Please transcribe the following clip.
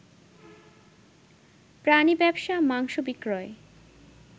প্রাণী ব্যবসা, মাংস বিক্রয়